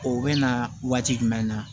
O bɛ na waati jumɛn na